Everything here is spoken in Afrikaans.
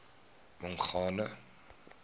mongane